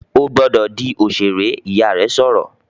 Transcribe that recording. "Ó gbọ́dọ̀ di òṣèré!", Ìyá rẹ̀ sọ̀rọ̀